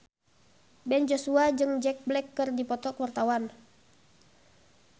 Ben Joshua jeung Jack Black keur dipoto ku wartawan